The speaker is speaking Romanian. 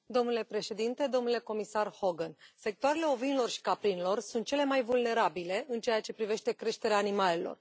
Domnule președinte, domnule comisar Hogan, sectoarele ovinelor și caprinelor sunt cele mai vulnerabile în ceea ce privește creșterea animalelor.